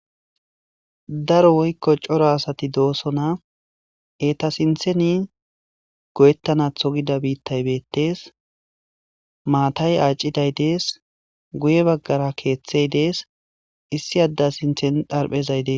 Daro woykko coro asati doosona. Eeta sintheni goyettanatho gida biittay beetes. Maatay aacciday dees. Guye baggara keeththey dees. Issi adda sinthen xarphezay dees.